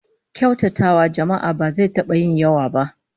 Kyautatawa jama'a ba zai taba yin yawa ba